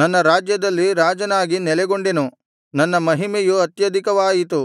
ನನ್ನ ರಾಜ್ಯದಲ್ಲಿ ರಾಜನಾಗಿ ನೆಲೆಗೊಂಡೆನು ನನ್ನ ಮಹಿಮೆಯು ಅತ್ಯಧಿಕವಾಯಿತು